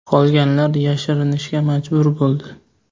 Qolganlar yashirinishga majbur bo‘ldi.